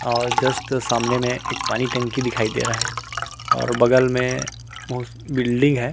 और जस्ट सामने में एक पानी टंकी दिखाई दे रहा है और बगल में बहुत बिल्डिंग है।